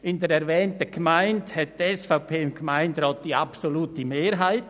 In der erwähnten Gemeinde hat die SVP im Gemeinderat die absolute Mehrheit.